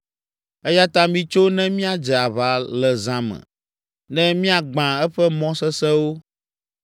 Eya ta mitso ne míadze aʋa le zã me ne miagbã eƒe mɔ sesẽwo!”